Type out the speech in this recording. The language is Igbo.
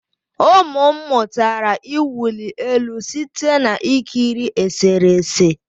Ụmụ m mụtara ịwụli elu site na ikiri eserese